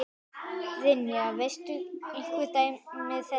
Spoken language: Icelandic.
Brynja: Veistu einhver dæmi þess?